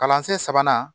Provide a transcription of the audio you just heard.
Kalansen sabanan